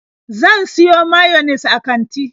Zan siyo mayines a kanti.